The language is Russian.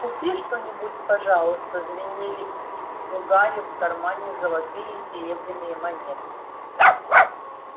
купи что-нибудь пожалуйста звенели у гарри в кармане золотые и серебряные монеты